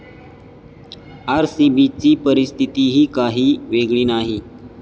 आरसीबीची परिस्थितीही काही वेगळी नाही.